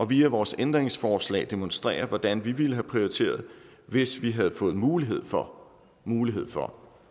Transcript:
via vores ændringsforslag demonstrerer hvordan vi ville have prioriteret hvis vi havde fået mulighed for mulighed for